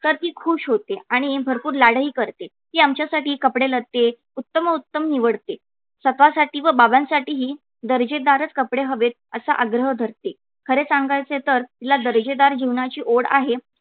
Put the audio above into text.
तर ती खूश होते आणि भरपूर लाडही करते ती आमच्यासाठी कपडेलत्ते उत्तमोत्तम निवडते. स्वतःसाठी व बाबां साठीही दर्जेदारच कपडे हवेत असा आग्रह धरते. खरे सांगायचे तर तिला दर्जेदार जीवनाची ओढ आहे.